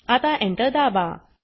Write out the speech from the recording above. आता Enter दाबा